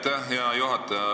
Aitäh, hea juhataja!